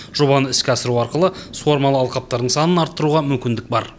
жобаны іске асыру арқылы суармалы алқаптардың санын арттыруға мүмкіндік бар